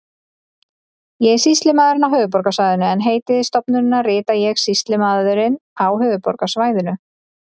Ég er sýslumaðurinn á höfuðborgarsvæðinu en heiti stofnunarinnar rita ég Sýslumaðurinn á höfuðborgarsvæðinu.